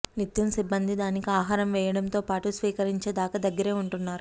నిత్యం సిబ్బంది దానికి ఆహారం వేయడంతో పాటు స్వీకరించే దాక దగ్గరే ఉంటున్నారు